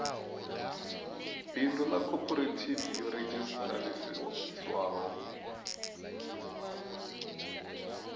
bindu ḽa khophorethivi yo redzhisiṱarisiwaho